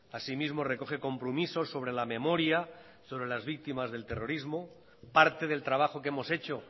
asimismo recoge compromisos sobre la memoria sobre las víctimas del terrorismo parte del trabajo que hemos hecho